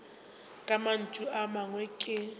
ka mantšu a mangwe ke